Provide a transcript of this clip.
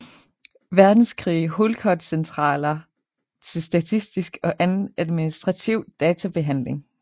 Verdenskrig hulkortcentraler til statistisk og anden administrativ databehandling